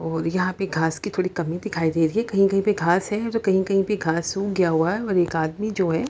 और यहाँ पे घास की थोड़ी कमी दिखाई दे रही है कही कही पे घास है और कही कही पे घास सुख गई है और एक आदमी जो है --